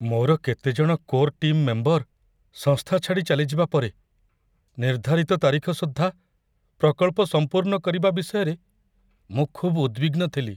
ମୋର କେତେ ଜଣ କୋର୍ ଟିମ୍ ମେମ୍ବର ସଂସ୍ଥା ଛାଡ଼ି ଚାଲିଯିବା ପରେ, ନିର୍ଦ୍ଧାରିତ ତାରିଖ ସୁଦ୍ଧା ପ୍ରକଳ୍ପ ସମ୍ପୂର୍ଣ୍ଣ କରିବା ବିଷୟରେ ମୁଁ ଖୁବ୍ ଉଦ୍‌ବିଗ୍ନ ଥିଲି।